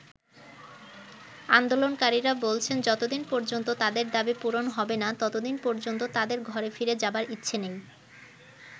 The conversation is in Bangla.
আন্দোলনকারীরা বলছেন যতদিন পর্যন্ত তাদের দাবি পূরণ হবে না ততদিন পর্যন্ত তাদের ঘরে ফিরে যাবার ইচ্ছে নেই।